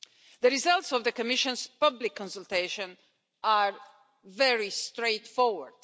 The results of the Commission's public consultation are very straightforward